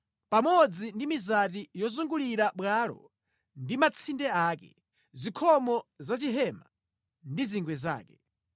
pamodzi ndi mizati yozungulira bwalo ndi matsinde ake, zikhomo za chihema ndi zingwe zake.